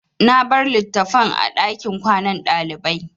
Na bar litattafan a ɗakin kwanan ɗalibai.